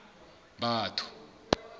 batho